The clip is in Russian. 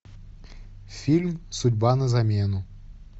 фильм судьба на замену